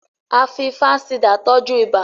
a fí fansidar tọjú ibà